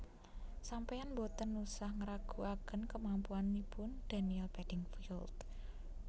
Sampean mboten usah ngraguaken kemampuanipun Daniel Beddingfield